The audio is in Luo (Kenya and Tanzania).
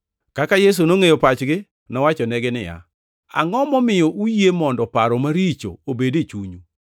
Kaka Yesu nongʼeyo pachgi, nowachonegi niya, “Angʼo momiyo uyie mondo paro maricho obed e chunyu?